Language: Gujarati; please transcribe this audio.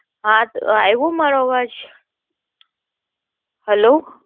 હા હ આવો મારો અવાજ, હલ્લો.